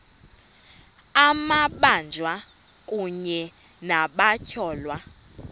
amabanjwa kunye nabatyholwa